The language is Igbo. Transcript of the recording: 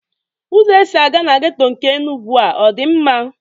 Ụzọ e si aga na geto nke Enugwu a dị mma?